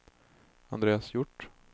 Andreas Hjort